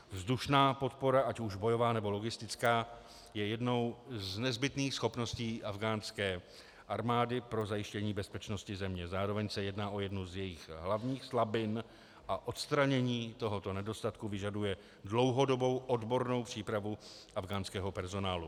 Vzdušná podpora, ať už bojová, nebo logistická, je jednou z nezbytných schopností afghánské armády pro zajištění bezpečnosti země, zároveň se jedná o jednu z jejích hlavních slabin a odstranění tohoto nedostatku vyžaduje dlouhodobou odbornou přípravu afghánského personálu.